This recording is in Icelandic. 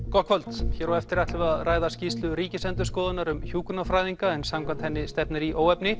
gott kvöld hér á eftir ætlum við að ræða skýrslu ríkisendurskoðunnar um hjúkrunarfræðinga en samkvæmt henni stefnir í óefni